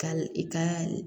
Ka i ka